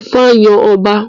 Ifá yàn ọba